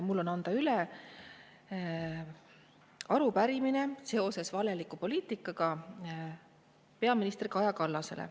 Mul on anda üle arupärimine seoses valeliku poliitikaga peaminister Kaja Kallasele.